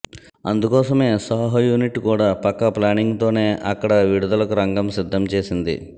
అందుకోసమే సాహో యూనిట్ కూడా పక్కా ప్లానింగ్ తోనే అక్కడ విడుదలకు రంగం సిద్ధం చేసింది